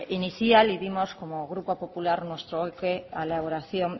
inicial y dimos como grupo popular nuestro ok a la elaboración